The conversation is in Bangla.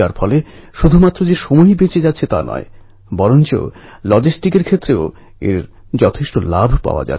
কিন্তু এই মেয়েটি সাহস হারায়নি এবং নিজেকে শক্তিশালী করে তুলে নিজের লক্ষ্যে পৌঁছেছে